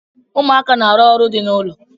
Ụmụaka na-arụ ọrụ dị n'ụlọ.